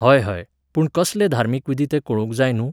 हय हय, पूण कसले धार्मीक विधी ते कळूंक जाय न्हूं.